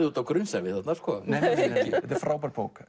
út á grunnsævi þarna nei þetta er frábær bók